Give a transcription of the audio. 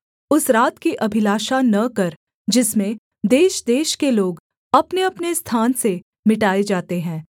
उस रात की अभिलाषा न कर जिसमें देशदेश के लोग अपनेअपने स्थान से मिटाएँ जाते हैं